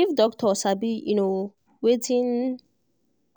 if doctor sabi um wetin